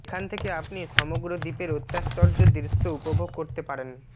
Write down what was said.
এখানে থেকে আপনি সমগ্র দ্বীপের অত্যাশ্চর্য দৃশ্য উপভোগ করতে পারেন